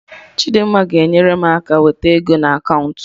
Chidimma ga-enyere m aka wete ego na kaụnta